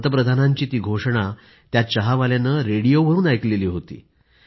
पंतप्रधानांची ती घोषणा या चहावाल्यानं रेडिओवरून ऐकली होती